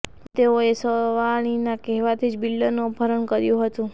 અને તેઓએ સવાણીના કહેવાથી જ બિલ્ડરનું અપહરણ કર્યું હતું